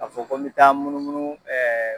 A fɔ ko n bɛ taa n munumunu